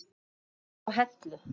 Þau búa á Hellu.